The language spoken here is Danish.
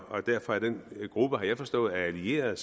og derfor er den gruppe har jeg forstået af allierede